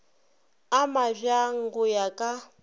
a mabjang go ya ka